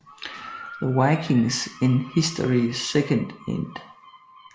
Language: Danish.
The Vikings in History 2nd ed